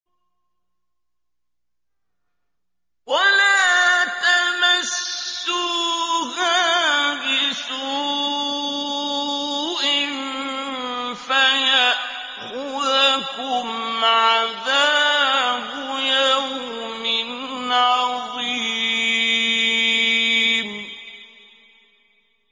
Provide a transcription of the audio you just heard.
وَلَا تَمَسُّوهَا بِسُوءٍ فَيَأْخُذَكُمْ عَذَابُ يَوْمٍ عَظِيمٍ